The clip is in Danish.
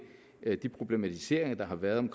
de problematiseringer der har været